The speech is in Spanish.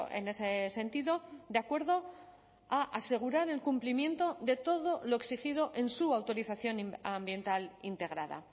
en ese sentido de acuerdo a asegurar el cumplimiento de todo lo exigido en su autorización ambiental integrada